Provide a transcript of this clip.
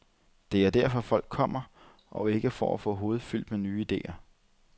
Det er derfor, folk kommer, og ikke for at få hovedet fyldt med nye idéer.